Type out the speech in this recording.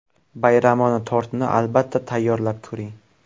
Bayramona tortni, albatta, tayyorlab ko‘ring.